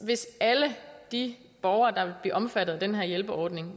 hvis alle de borgere der vil blive omfattet af den her hjælpeordning